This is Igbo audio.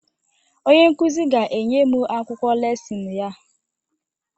Onye nkụzi ga-enye m akwụkwọ lesịn ya